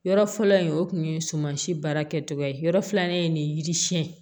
Yɔrɔ fɔlɔ in o tun ye sumansi baara kɛcogo ye yɔrɔ filanan ye nin yiri siɲɛ